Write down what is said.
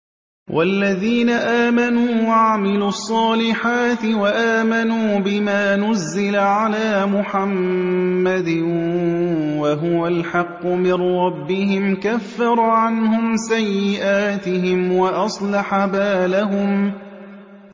وَالَّذِينَ آمَنُوا وَعَمِلُوا الصَّالِحَاتِ وَآمَنُوا بِمَا نُزِّلَ عَلَىٰ مُحَمَّدٍ وَهُوَ الْحَقُّ مِن رَّبِّهِمْ ۙ كَفَّرَ عَنْهُمْ سَيِّئَاتِهِمْ وَأَصْلَحَ بَالَهُمْ